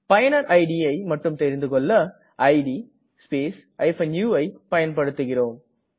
பயனரின் idஐ மட்டும் தெரிந்துகொள்ள இட் ஸ்பேஸ் uஐ பயன்படுத்துகிறோம்